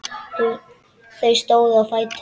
Þau stóðu á fætur.